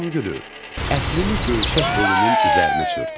Badamgülü, ətrini göyçək holunun üzərinə sürt.